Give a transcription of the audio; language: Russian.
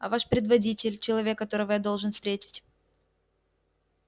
а ваш предводитель человек которого я должен встретить